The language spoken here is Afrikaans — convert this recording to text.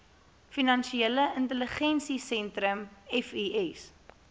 finansiële intelligensiesentrum fis